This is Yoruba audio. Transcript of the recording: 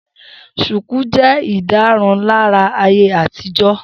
Shùkú jẹ́ ìdárunlárà ayé àtijọ́